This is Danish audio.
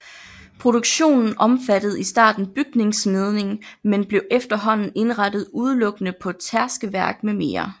Produktionen omfattede i starten bygningssmedning men blev efterhånden indrettet udelukkende på tærskeværk med mere